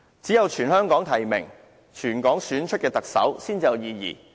只有全香港提名，由全港市民選出的特首，才有意義。